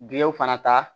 Giliw fana ta